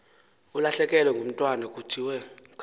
ulahlekelwe ngumntwana kuthiwe